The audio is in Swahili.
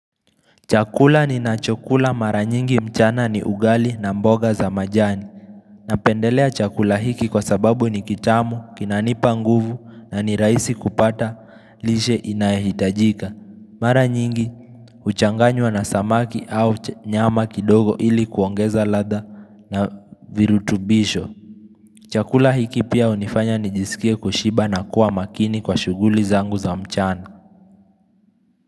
Chakula ninachokula mara nyingi mchana ni ugali na mboga za majani. Napendelea chakula hiki kwa sababu ni kitamu, kinanipa nguvu na ni rahisi kupata lishe inayohitajika. Mara nyingi, huchanganywa na samaki au nyama kidogo ili kuongeza ladha na virutubisho. Chakula hiki pia hunifanya nijisikie kushiba na kuwa makini kwa shuguli zangu za mchana.